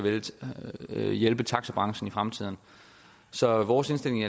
hjælpe taxabranchen i fremtiden så vores indstilling i